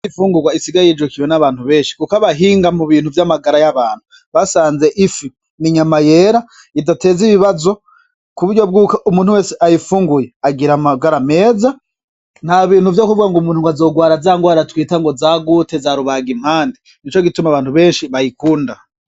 Imfungurwa isigaye yijukiwe n'abantu benshi kuko abahinga mu bintu vy'amagara y'abantu basanze ifi n'inyama yera, idateza ibibazo, kuburyo bwuko umuntu wese ayifunguye agira amagara meza, nta bintu vyokuvuga ngo umuntu azogwara za ngwara twita ngo za gute, za rubagimpande, nico gituma abantu benshi bayikunda.